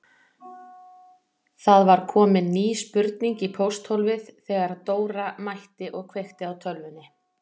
Það var komin ný spurning í pósthólfið þegar Dóra mætti og kveikti á tölvunni.